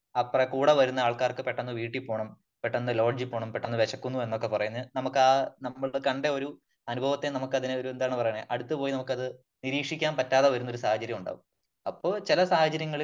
അപ്പോ കൂടെ വന്ന ആൾക്കാർക്ക് പെട്ടന്ന് വീട്ടില് പോകണം ,പെട്ടന്ന് ലോഡ്ജിൽ പോകണം അല്ലെങ്കിൽ പെട്ടെന്ന് വിശക്കുന്നു എന്നൊക്കെ പറഞ്ഞു നമുക്കാ നമ്മളുടെ കണ്ട ഒരു അനുഭവത്തെ നമുക്കതിനെ ഒരു എന്താണ് പറയണേ അടുത്ത് പോയി നമുക്കത് നിരീക്ഷിക്കാൻ പറ്റാതെ വരുന്ന ഒരു സാഹചര്യം ഉണ്ടാകും. അപ്പോ ചില സാഹചര്യങ്ങളിൽ